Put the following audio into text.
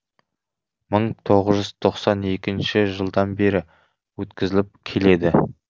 мың тоғыз жүз тоқсан екінші жылдан бері өткізіліп келеді